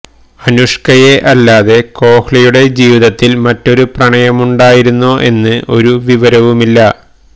അനുഷ്കയെ അല്ലാതെ കോഹ്ലിയുടെ ജീവിതത്തിൽ മറ്റൊരു പ്രണയമുണ്ടായിരുന്നോ എന്ന് ഒരു വിവരവുമില്ല